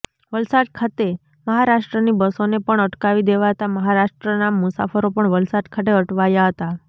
વલસાડ ખાતે મહારાષ્ટ્રની બસોને પણ અટકાવી દેવાતા મહારાષ્ટ્રના મુસાફરો પણ વલસાડ ખાતે અટવાયા હતા